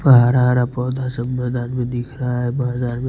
हरा हरा पौधा सब मैदान में दिख रहा है मैदान में--